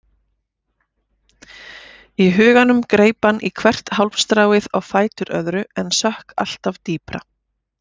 Í huganum greip hann í hvert hálmstráið á fætur öðru en sökk alltaf dýpra.